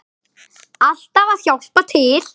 Alltaf að hjálpa til.